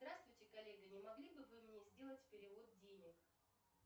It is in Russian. здравствуйте коллеги не могли бы вы мне сделать перевод денег